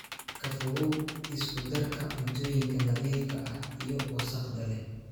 Ka fogow isku darka cuntooyinka nadiifka ah iyo wasakhda leh.